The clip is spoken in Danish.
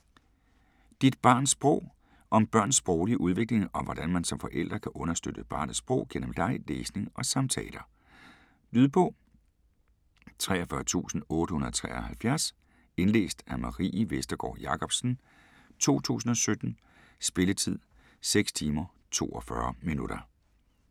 Dit barns sprog Om børns sproglige udvikling, og hvordan man som forælder kan understøtte barnets sprog gennem leg, læsning og samtaler. Lydbog 43873 Indlæst af Marie Vestergård Jacobsen, 2017. Spilletid: 6 timer, 42 minutter.